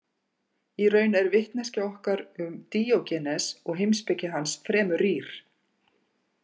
Í raun er vitneskja okkar um Díógenes og heimspeki hans fremur rýr.